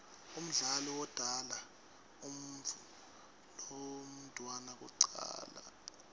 umdali wodala umuutfu lomdouna kucala